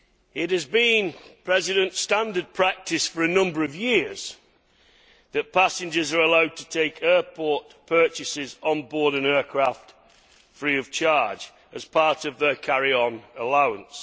It has been standard practice for a number of years that passengers are allowed to take airport purchases on board an aircraft free of charge as part of their carry on allowance.